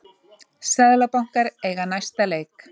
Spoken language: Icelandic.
Seðlabankar eiga næsta leik